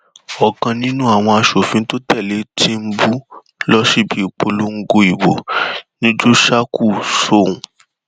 ọkan nínú àwọn aṣòfin tó tẹlé tìǹbù lọ síbi ìpolongo ìbò ni jóṣákù sọhùn